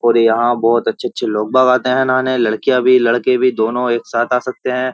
और यहां बहुत अच्छे-अच्छे लोग बगाते हैं नाने लड़कियां भी लड़के भी दोनों एक साथ आ सकते हैं।